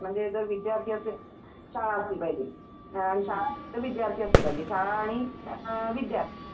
बरं आणखी काय यात्रे बद्दल सांगताय का तुम्हाला यात्रा म्हणजे नेमकं त्याला यात्रा का म्हणतात वगैरे असं काही.